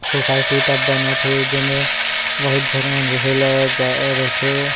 Society तब बनत हे जेमे बहुत झन रहे ल जा रहिथे।